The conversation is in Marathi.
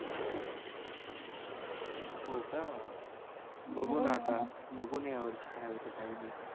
हो का बघू ना आता बघू ना यावर्षी काय होतंय काय नाही